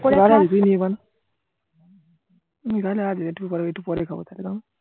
করে গাজা আছে একটু পরে একটু পরে খাবো তাহলে দাঁড়া